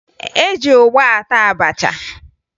E ji ụgba ata abacha